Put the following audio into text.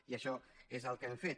i això és el que hem fet